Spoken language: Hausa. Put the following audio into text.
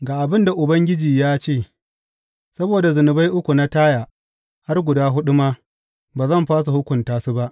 Ga abin da Ubangiji ya ce, Saboda zunubai uku na Taya, har guda huɗu ma, ba zan fasa hukunta su ba.